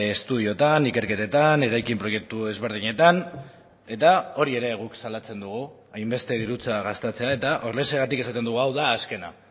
estudiotan ikerketetan eraikin proiektu desberdinetan eta hori ere guk salatzen dugu hainbeste dirutza gastatzea eta horrexegatik esaten dugu hau da azkena